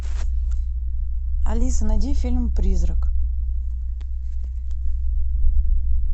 алиса найди фильм призрак